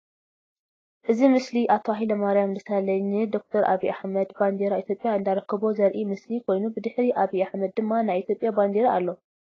እዚ ምስሊ አቶ ሃይለማርያም ደሳለኝ ን ደ/ር አብይ አሕመድ ባንዴራ ኢትዮጵያ እንዳረከቦ ዘርኢ ምስሊ ኮይኑ ብድሕሪ አብይ አሕመድ ድማ ናይ ኢትዮጵያ ባንዴራ አሎ፡፡